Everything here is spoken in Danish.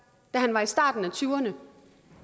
da han var i starten af tyverne